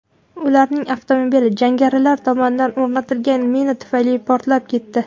Ularning avtomobili jangarilar tomonidan o‘rnatilgan mina tufayli portlab ketdi.